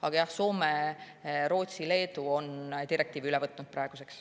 Aga jah, Soome, Rootsi ja Leedu on direktiivi üle võtnud.